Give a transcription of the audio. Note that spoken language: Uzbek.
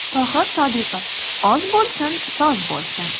Tohir Sodiqov: Oz bo‘lsin, soz bo‘lsin.